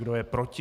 Kdo je proti?